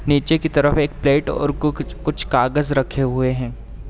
नीचे की तरफ एक प्लेट और कु-कुछ कुछ कागज रखे हुए हैं।